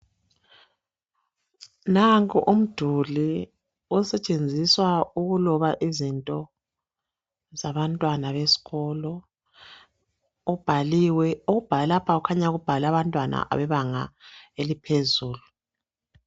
Nanku umduli osetshenziswa ukuloba izinto zabantwana besikolo ubhaliwe okubhale lapha kukhanya kubhale abantwana bebanga laphezulu